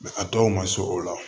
a dɔw ma se o la